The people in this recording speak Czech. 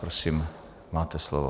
Prosím, máte slovo.